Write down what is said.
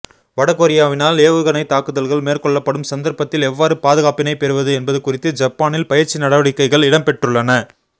வடகொரியாவினால் ஏவுகணை தாக்குதல்கள் மேற்கொள்ளப்படும் சந்தர்ப்பத்தில் எவ்வாறு பாதுகாப்பினை பெறுவது என்பது குறித்து ஜப்பானில் பயிற்சி நடவடிக்கைகள் இடம்பெற்றுள்ளன